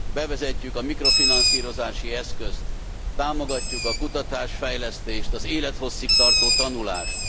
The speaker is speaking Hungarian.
vezetjük be a mikrofinanszírozási eszközt. Támogatjuk a kutatás fejlesztést, az élethosszig tartó tanulást.